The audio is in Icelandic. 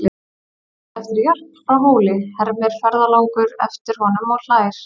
Manstu eftir Jörp frá Hóli, hermir ferðalangur eftir honum og hlær.